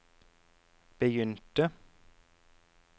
begynte